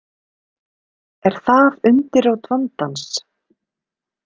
Er það undirrót vandans?